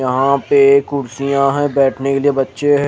वहा पे कुड्सिया है बेठने के लिए बच्चे है।